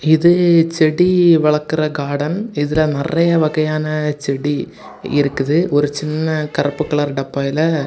இது செடி வளக்குற கார்டன் இதுல நிறைய வகையான செடி இருக்கு ஒரு சின்ன கருப்பு கலர் டப்பாயில.